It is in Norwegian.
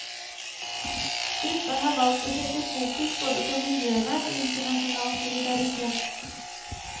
Gruppa har valgt å sette fokus både på miljøvern og internasjonal solidaritet.